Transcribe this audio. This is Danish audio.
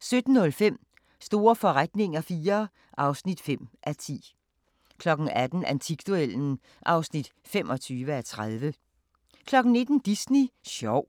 17:05: Store forretninger IV (5:10) 18:00: Antikduellen (25:30) 19:00: Disney sjov